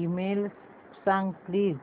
email सांग please